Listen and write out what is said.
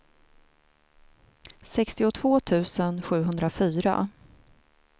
sextiotvå tusen sjuhundrafyra